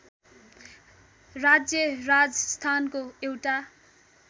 राज्य राजस्थानको एउटा